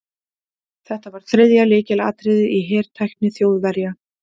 Þetta var þriðja lykilatriðið í hertækni Þjóðverja.